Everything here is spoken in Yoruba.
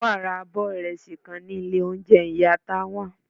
Tawa ra o abọ irẹsi kan ni ilé ounjẹ iya Tánwa.